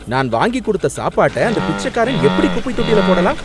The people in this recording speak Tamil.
நான் வாங்கி கொடுத்த சாப்பாட்ட அந்த பிச்சக்காரன், எப்படி குப்பைத்தொட்டில போடலாம்?